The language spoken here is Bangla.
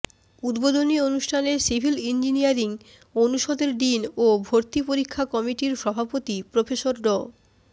উদ্বোধনী অনুষ্ঠানে সিভিল ইঞ্জিনিয়ারিং অনুষদের ডিন ও ভর্তি পরীক্ষা কমিটির সভাপতি প্রফেসর ড